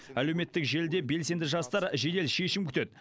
әлеуметтік желіде белсенді жастар жедел шешім күтеді